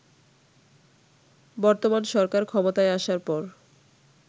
বর্তমান সরকার ক্ষমতায় আসার পর